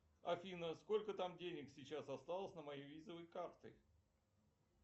афина сколько там денег сейчас осталось на моей визовой карте